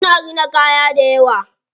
Suna rina kaya dayawa.